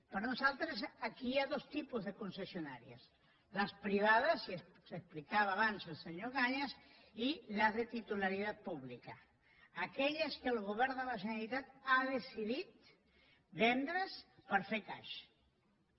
per nosaltres aquí hi ha dos tipus de concessionàries les privades que explicava abans el senyor cañas i les de titularitat pública aquelles que el govern de la generalitat ha decidit vendre’s per fer caixa